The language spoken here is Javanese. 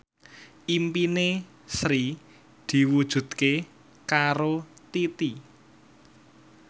impine Sri diwujudke karo Titi